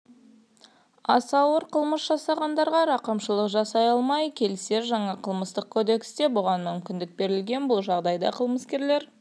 ауыр қылмыс жасағандарға рақымшылық жасалмай келсе жаңа қылмыстық кодексте бұған мүмкіндік берілген бұл жағдайда қылмыскерлер